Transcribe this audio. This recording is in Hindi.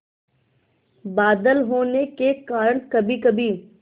बादल होने के कारण कभीकभी